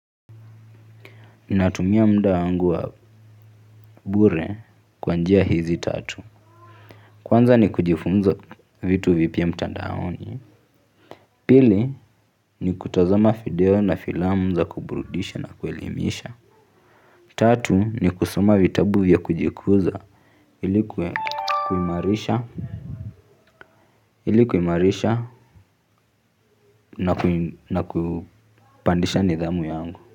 Ninatumia muda wangu wa bure kwa njia hizi tatu. Kwanza ni kujifunza vitu vipya mtandaoni. Pili ni kutazama fideo na filamu za kuburudisha na kuelimisha. Tatu ni kusoma vitabu vya kujikuza ili kuimarisha kuimarisha na kupandisha nidhamu yangu.